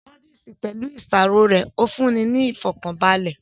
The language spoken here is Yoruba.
Búdíìsì, pẹ̀lú ìṣàrò rẹ̀ fún'ni ní ìfọ̀kànbalẹ̀